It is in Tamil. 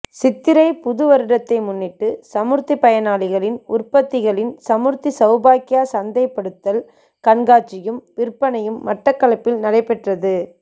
சித்திரை புதுவருடத்தை முன்னிட்டு சமுர்த்தி பயனாளிகளின் உற்பத்திகளின் சமுர்த்தி சௌபாக்கியா சந்தைப்படுத்தல் கண்காட்சியும் விற்பனையும் மட்டக்களப்பில் நடைபெற்றது